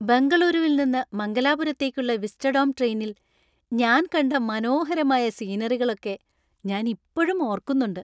ബെംഗളൂരുവിൽ നിന്ന് മംഗലാപുരത്തേക്കുള്ള വിസ്റ്റഡോം ട്രെയിനിൽ ഞാൻ കണ്ട മനോഹരമായ സീനറികളൊക്കെ ഞാൻ ഇപ്പഴും ഓർക്കുന്നുണ്ട് .